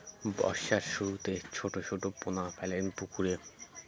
বর্ষার শুরুতে ছোট ছোট পোনা ফেলেন পুকুরে